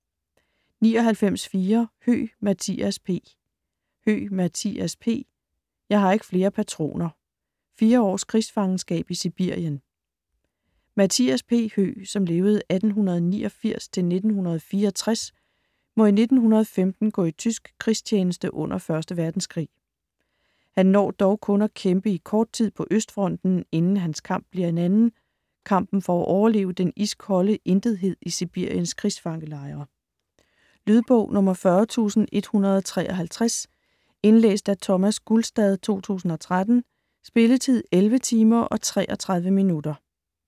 99.4 Høeg, Mathias P. Høeg, Mathias P.: Jeg har ikke flere patroner: fire års krigsfangenskab i Sibirien Mathias P. Høeg (1889-1964) må i 1915 gå i tysk krigstjeneste under 1. Verdenskrig. Han når dog kun at kæmpe i kort tid på Østfronten, inden hans kamp bliver en anden: kampen for at overleve den iskolde intethed i Sibiriens krigsfangelejre. Lydbog 40153 Indlæst af Thomas Gulstad, 2013. Spilletid: 11 timer, 33 minutter.